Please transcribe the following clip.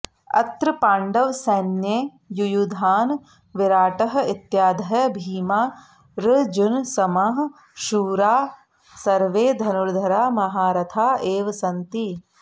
अत्र पाण्डवसैन्ये युयुधानः विराटः इत्यादयः भीमा र्जुनसमाः शूराः सर्वे धनुर्धराः महारथाः एव सन्ति